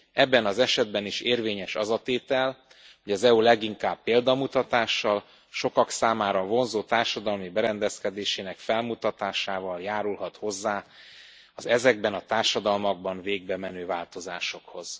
Ebben az esetben is érvényes az a tétel, hogy az EU leginkább példamutatással, sokak számára vonzó társadalmi berendezkedésének felmutatásával járulhat hozzá az ezekben a társadalmakban végbemenő változásokhoz.